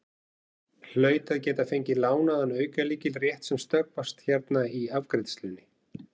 Hlaut að geta fengið lánaðan aukalykil rétt sem snöggvast hérna í afgreiðslunni.